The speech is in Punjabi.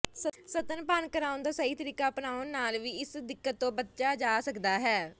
ਸਤਨਪਾਨ ਕਰਾਉਣ ਦਾ ਸਹੀ ਤਰੀਕਾ ਅਪਣਾਉਣ ਨਾਲ ਵੀ ਇਸ ਦਿੱਕਤ ਤੋਂ ਬਚਾ ਜਾਂ ਸਕਦਾ ਹੈ